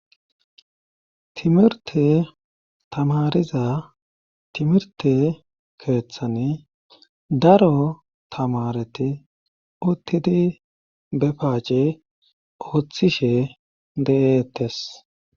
Timirte tamariza timirte keeththani daro tamareti uttidi bepaace ooththishe de'eettes.